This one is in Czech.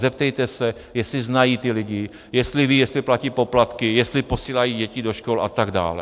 Zeptejte se, jestli znají ty lidi, jestli vědí, jestli platí poplatky, jestli posílají děti do škol a tak dále.